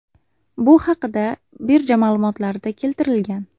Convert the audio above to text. Bu haqda birja ma’lumotlarida keltirilgan .